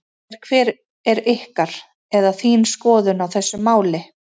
Segðu mér hver er ykkar, eða þín skoðun á þessu máli?